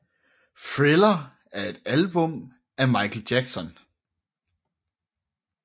Thriller er et album af Michael Jackson